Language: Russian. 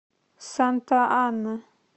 санта ана